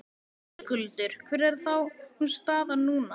Höskuldur: Hver er þá staðan núna?